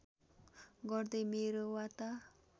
गर्दै मेरो वार्ता